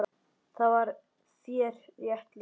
Þar var þér rétt lýst!